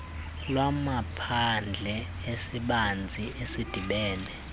lwamaphandle esibanzi esidibene